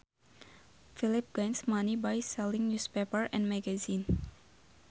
Felipe gains money by selling newspapers and magazines